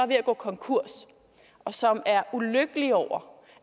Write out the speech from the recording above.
ved at gå konkurs og som er ulykkelig over